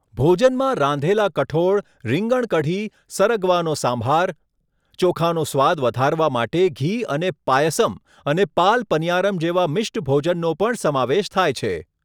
ભોજનમાં રાંધેલા કઠોળ, રીંગણ કાઢી, સરગવાનો સંભાર, ચોખાનો સ્વાદ વધારવા માટે ઘી અને પાયસમ અને પાલ પનીયારમ જેવા મિષ્ટ ભોજનનો પણ સમાવેશ થાય છે.